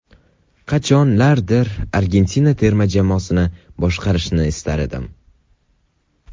Qachonlardir Argentina terma jamoasini boshqarishni istar edim.